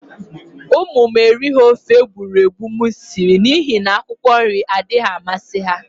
Umu m erighi ofe egburegbu m siri n'ihi n'akwụkwọ nri adaghi amasi ha.